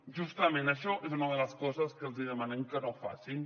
justament això és una de les coses que els hi demanem que no facin